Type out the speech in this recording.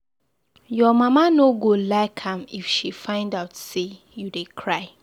Your mama no go like am if she find out say you dey cry.